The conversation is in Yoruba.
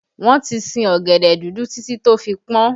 Wọn ti sin ọ̀gẹ̀dẹ̀ dúdú títí tó fi pọn